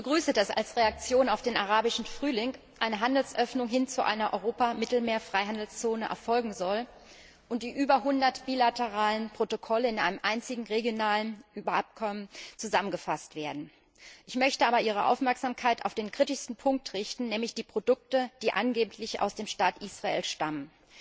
Ich begrüße es, dass als Reaktion auf den Arabischen Frühling eine Handelsöffnung hin zu einer Europa Mittelmeer Freihandelszone erfolgen soll und die über 100 bilateralen Protokolle in einem einzigen regionalen Übereinkommen zusammengefasst werden. Ich möchte aber Ihre Aufmerksamkeit auf den kritischsten Punkt lenken, nämlich die Produkte, die angeblich aus dem Staat Israel stammen.